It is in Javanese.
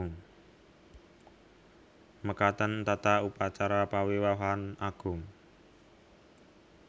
Mekaten tata upacara pawiwahan agung